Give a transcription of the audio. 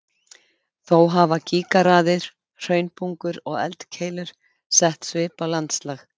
Þó hafa gígaraðir, hraunbungur og eldkeilur sett svip á landslag.